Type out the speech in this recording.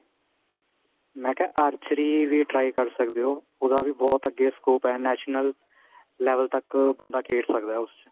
ਮੈਂ ਕਿਹਾ archery ਵੀ try ਕਰ ਸਕਦੇ ਓ ਉਹਦਾ ਵੀ ਬਹੁਤ ਅੱਗੇ scope ਏ national level ਤੱਕ ਬੰਦਾ ਖੇਡ ਸਕਦਾ ਉਸ ਚ